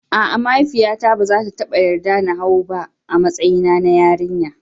A'a, mahaifiyata ba za ta taba yarda na hau ba, a matsayina na yarinya.